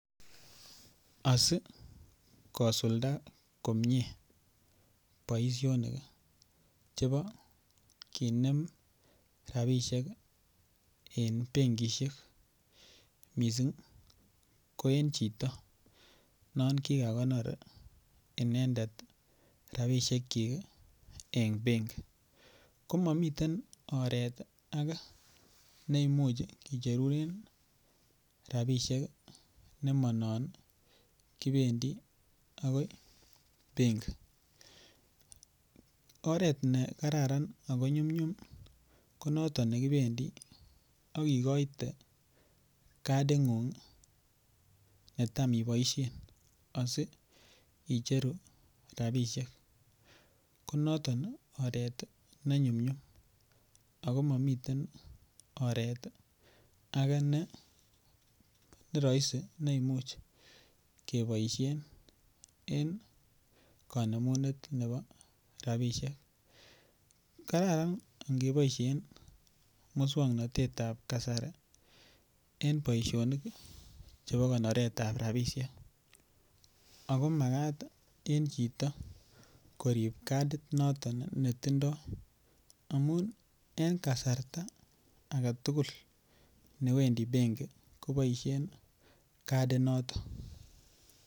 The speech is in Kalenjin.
Asi kosulda komie boisionik chebo kinem rabisiek en benkisiek mising ko en chito non kigakonor inendet rabisiekyik en benki ko mamiten oret age ne Imuch kicherunen rabisiek ne Manon kibendi agoi benki oret ne kararan ako nyumnyum ko noton ne kibendi ak igoite kadingung netam iboisien asi icheru rabisiek ko noton oret ne nyum nyum age ne rahisi ne Imuch keboisien en kanemunet nebo rabisiek kararan angeboisien moswoknatet nebo kasari en boisionik chebo konoret ab rabisiek ako Magat en chito koib kadit noton netindoi amun en kasarta age tugul newendi benki koboisien kadinato